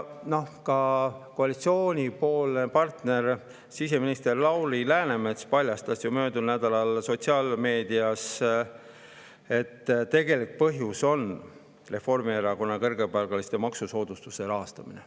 Ka koalitsioonipartner siseminister Lauri Läänemets paljastas möödunud nädalal sotsiaalmeedias, et selle tegelik põhjus on Reformierakonna kõrgepalgaliste maksusoodustuse rahastamine.